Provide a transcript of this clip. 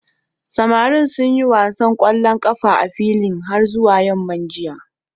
Samarin sun yi wasan ƙwallon ƙafa a filin har zuwa yamma jiya.